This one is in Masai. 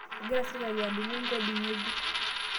Egira sirkali aadung'u nkoodi ng'ejuko